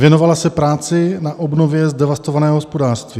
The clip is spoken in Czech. - Věnovala se práci na obnově zdevastovaného hospodářství.